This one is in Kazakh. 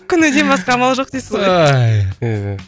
көнуден басқа амал жоқ дейсіз ғой